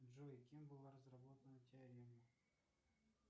джой кем была разработана теорема